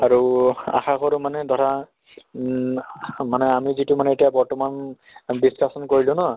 আৰু আশা কৰো মানে ধৰা ঊম মানে আমি যিটো মানে এতিয়া বৰ্তমান discussion কৰিলোঁ ন